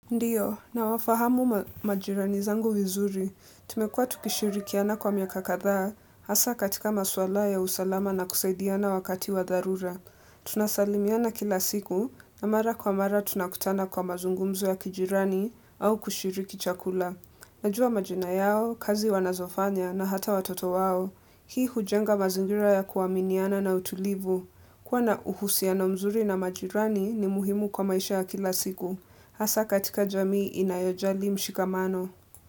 Ndiyo, nawafahamu majirani zangu vizuri, tumekua tukishirikiana kwa miaka kathaa, hasa katika maswala ya usalama na kusaidiana wakati wa dharura. Tunasalimiana kila siku, na mara kwa mara tunakutana kwa mazungumzo ya kijirani au kushiriki chakula. Najua majina yao, kazi wanazofanya na hata watoto wao, hii ujenga mazingira ya kuaminiana na utulivu. Kua na uhusiano mzuri na majirani ni muhimu kwa maisha kila siku. Hasa katika jamii inayojali mshikamano.